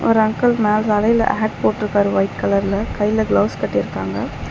ஒரு அங்கில் மேல தலையில ஹேட் போட்ருக்காரு ஒயிட் கலர்ல கையில கிளவுஸ் கட்டிறுக்காங்க.